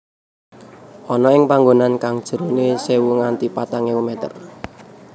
Ana ing panggonan kang jerone sewu nganti patang ewu meter